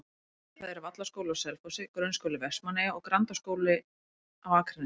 Það eru Vallaskóli á Selfossi, Grunnskóli Vestmannaeyja og Grundaskóli á Akranesi.